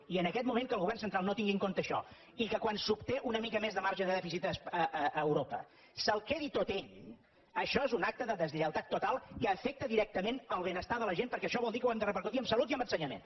i en aquest moment que el govern central no tingui en compte això i que quan s’obté una mica més de marge de dèficit a europa se’l quedi tot ell això és un acte de deslleialtat total que afecta directament el benestar de la gent perquè això vol dir que ho hem de repercutir en salut i en ensenyament